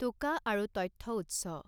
টোকা আৰু তথ্যউৎস.